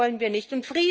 Das wollen wir nicht.